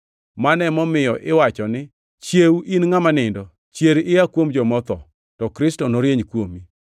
Mano emomiyo iwacho ni: “Chiew in ngʼama nindo, chier ia kuom joma otho, to Kristo norieny kuomi.”